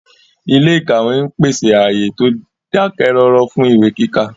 Ilé ìkàwé ń pèsè ààyè tó dákẹ́ rọ́rọ́ fún ìwé kíkà